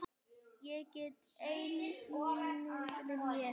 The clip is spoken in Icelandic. Ég get enn ímyndað mér!